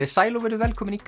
sæl og verið velkomin í